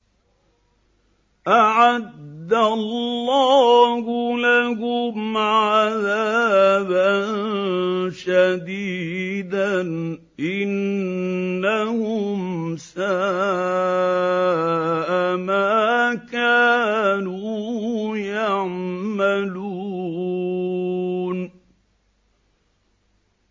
أَعَدَّ اللَّهُ لَهُمْ عَذَابًا شَدِيدًا ۖ إِنَّهُمْ سَاءَ مَا كَانُوا يَعْمَلُونَ